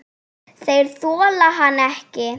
Þeir þola hann ekki.